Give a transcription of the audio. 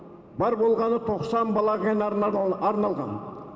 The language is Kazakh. бар болғаны тоқсан бала арналған